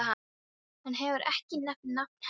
Hann hefur ekki nefnt nafn hennar.